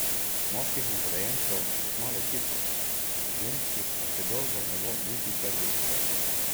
Moških nagrajencev bo kmalu tisoč, ženskih pa še dolgo ne bo niti prvih sto.